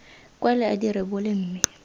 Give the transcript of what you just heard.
kwale a di rebole mme